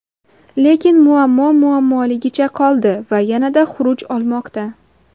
Lekin muammo muammoligicha qoldi va yanada xuruj olmoqda.